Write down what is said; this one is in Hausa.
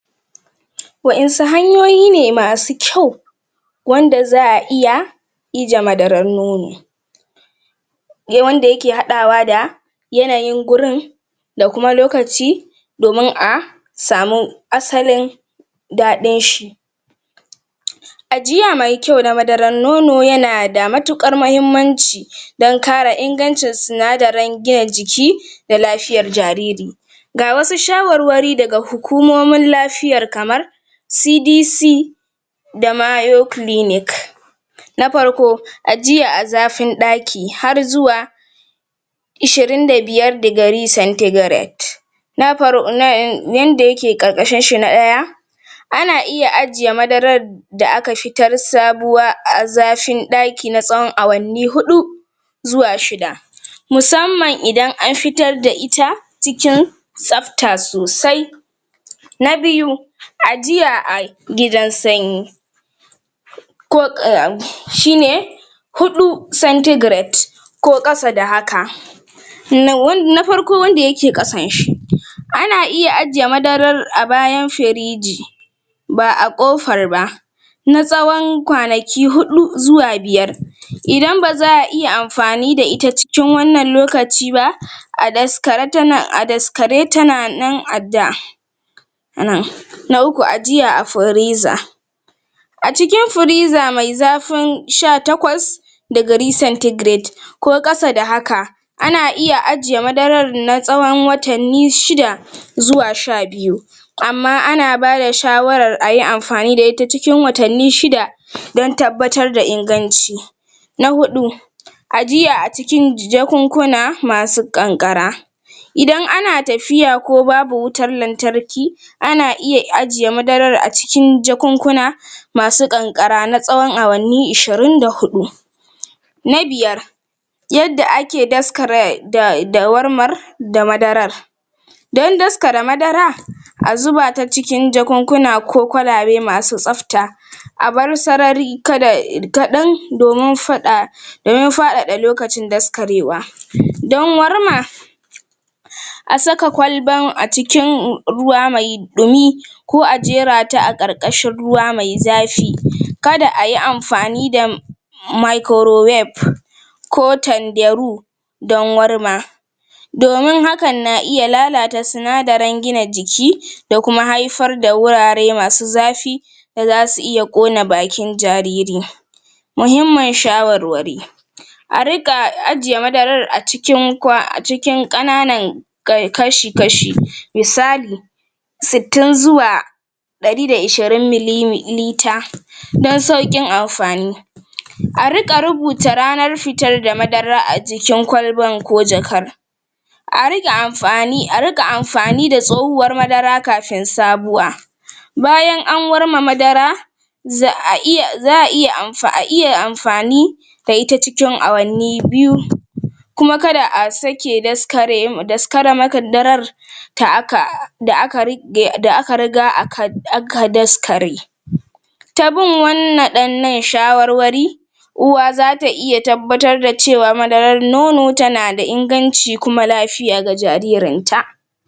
Wa'insu hanyoyi ne masu kyau wanda za a iya ije madaran nono wanda yake haɗawa da yananyin gurin da kuma lokaci domin a samu asalin daɗin shi ajiya mai kyau na madarar nono yana da matuƙar mahimmanci don kare ingancin sinadarin gina jiki da lafiyar jariri ga wasu shawarwari daga hukumomin lafiyar kamar CDC da na parko ajiya a zafin ɗaki har zuwa ishirin da biyar um ana iya ajiye madarar da aka fitar sabuwa a zafin ɗaki na tsawon awanni huɗu zuwa shida musamman idan an fitar da ita cikin tsafta sosai na biyu ajiya a gidan sanyi um shine huɗu ko kasa da haka um na farko wanda yake ƙasan shi ana iya ajiye madarar a bayan firiji ba a ƙofar ba na tsawon kwanayi huɗu zuwa biyar idan ba za a iya amfani da ita cikin wannan lokaci ba a daskare tana a daskare tana nan a da um na uku ajiya a firiza a cikin firiza mai zafin sha takwas ko ƙasa da haka ana iya ajiye madarar na tsawon watanni shida zuwa sha biyu amma ana bada shawarar ayi amfani da ita cikin watanni shida don tabbatar da inganci na huɗu ajiya a cikin jakunkuna masu ƙanƙara idan ana tafiya ko babu wutar lantarki ana iya ajiye madarar a cikin jankunkuna masu ƙanƙara na tsawon awanni ishirin da huɗu na biyar yadda ake daskara da da warmar da madarar don daskara madara a zuba ta cikin jakunkuna ko kwalabe masu tsafta a bar sarari kada um kaɗan domin faɗa don faɗaɗa lokacin daskarewa don warma a saka kwalban a cikin ruwa mai ɗumi ko a jera ta a ƙarƙashin ruwa mai zafi kada ayi amfani da ko tandaru don warma domin hakan na iya lalata sinadarin gina jiki da kuma haifar da wurare masu zafi da zasu iya ƙona bakin jariri muhimmin shawarwari a riƙa ajiye madarar a cikin um a cikin ƙananan um kashi-kashi misali sittin zuwa ɗari da ishirin don sauƙin amfani a riƙa rubuta ranar fitar da madarar a cikin kwalban ko jakan a rike a rika amfani da tsohuwar madara kafin sabuwa bayan an warma madara za a iya za a iya um iya amfani fab ita cikin awanni biyu kuma kada a sake um um da aka riga aka um daskare ta bin um shawarwari uwa za ta iya tabbbatar da cewa madarar nono tana da inganci kuma lafiya ga jaririn ta.